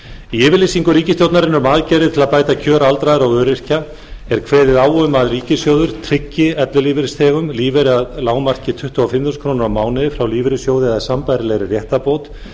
í yfirlýsingu ríkisstjórnarinnar um aðgerðir til að bæta kjör aldraðra og öryrkja er kveðið á um að ríkissjóður tryggi ellilífeyrisþegum lífeyri að lágmarki tuttugu og fimm þúsund krónur á mánuði frá lífeyrissjóði eða sambærilega réttarbót